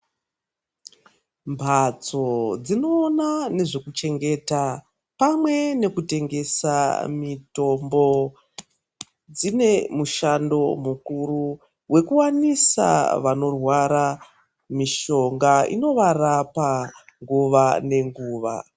Mphatso dzinoona nezvekuchengeta pamwe nekutengesa mithombo dzine mushando mukuru wekuwanisa vanorwara mishonga inovarapa nguva nenguva.